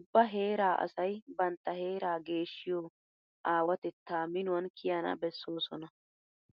Ubba heeraa asay bantta heeraa geeshshiyo aawatettaa minuwan kiyana bessoosona.